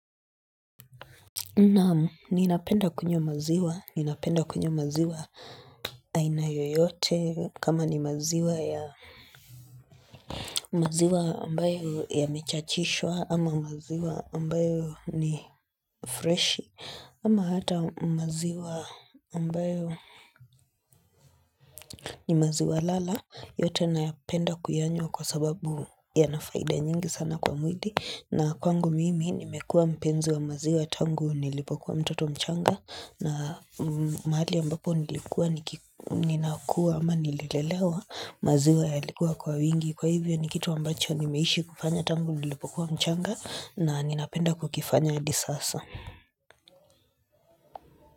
Naam ninapenda kunywa maziwa, ninapenda kunywa maziwa aina yoyote kama ni maziwa ya maziwa ambayo yamechachishwa ama maziwa ambayo ni freshi ama hata maziwa ambayo ni maziwa lala yote napenda kuyanywa kwa sababu yana faida nyingi sana kwa mwili na kwangu mimi nimekuwa mpenzi wa maziwa tangu nilipokuwa mtoto mchanga na mahali ambapo nilikua ninakua ama nililelewa maziwa yalikuwa kwa wingi Kwa hivyo ni kitu ambacho nimeishi kufanya tangu nilipokuwa mchanga na ninapenda kukifanya adi sasa.